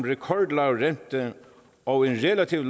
rekordlav rente og en relativt